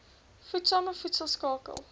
voedsame voedsel skakel